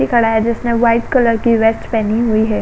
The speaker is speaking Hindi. खड़ा है जिसने व्हाइट कलर की वेस्ट पहनी हुई है।